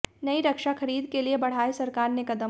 नई रक्षा खरीद के लिए बढ़ाए सरकार ने कदम